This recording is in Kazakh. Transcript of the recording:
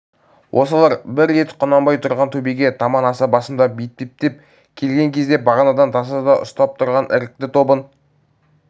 осылар бір рет құнанбай тұрған төбеге таман аса басымдап етпеттеп келген кезде бағанадан тасада ұстап тұрған ірікті тобын